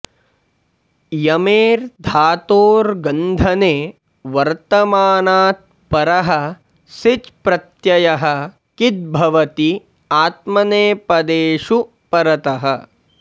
यमेर् धातोर् गन्धने वर्तमानात् परः सिच् प्रत्ययः किद् भवति आत्मनेपदेषु परतः